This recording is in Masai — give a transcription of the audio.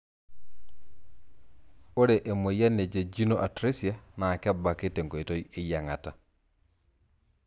Ore emoyian e jejunal atresia naa kebaki tenkoitoi eyiangat.